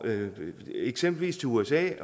ud eksempelvis til usa